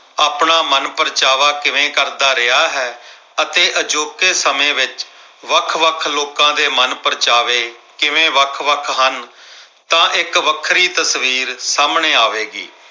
ਆਪਣਾ ਮਨਪ੍ਰਚਾਵਾ ਕਿਵੇਂ ਕਰਦਾ ਰਿਹਾ ਹੈ ਅਤੇ ਅਜੋਕੇ ਸਮੇਂ ਵਿੱਚ ਵੱਖ-ਵੱਖ ਲੋਕਾਂ ਦੇ ਮਨਪ੍ਰਚਾਵੇ ਕਿਵੇਂ ਵੱਖ-ਵੱਖ ਹਨ। ਤਾਂ ਇੱਕ ਵੱਖਰੀ ਤਸਵੀਰ ਸਾਹਮਣੇ ਆਵੇਗੀ।